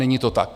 Není to tak.